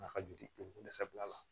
Nafa joli dɛsɛ bilala